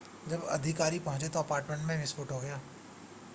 जब अधिकारी पहुंचे तो अपार्टमेंट में विस्फोट हो गया